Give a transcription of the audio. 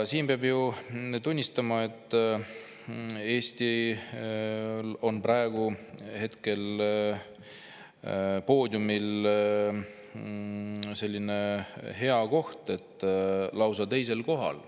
Peab tunnistama, et Eestil on praegu poodiumil selline "hea koht", et me oleme lausa teisel kohal.